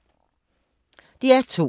DR2